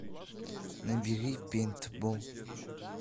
набери пейнтбол